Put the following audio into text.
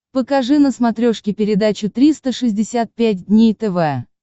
покажи на смотрешке передачу триста шестьдесят пять дней тв